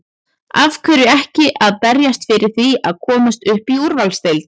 Af hverju ekki að berjast fyrir því að komast upp í úrvalsdeild?